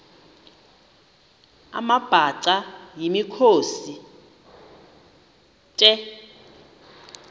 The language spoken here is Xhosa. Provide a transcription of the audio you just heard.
amabhaca yimikhosi the